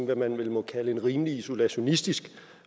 hvad man vel må kalde en rimelig isolationistisk